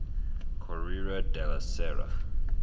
corriere della sera